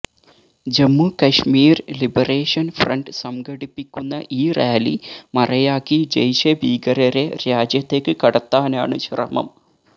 Jammu Kashmir liberation front സംഘടിപ്പിക്കുന്ന ഈ rally മറയാക്കി ജെയ്ഷെ ഭീകരരെ രാജ്യത്തേക്ക് കടത്താനാണ് ശ്രമം